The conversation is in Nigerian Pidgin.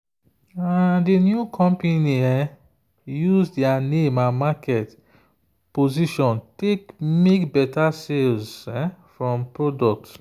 the new company use their name and market position take make better sales from product.